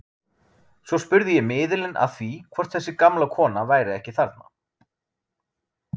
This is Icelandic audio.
Svo spurði ég miðilinn að því hvort þessi gamla kona væri ekki þarna.